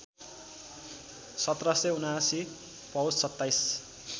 १७७९ पौष २७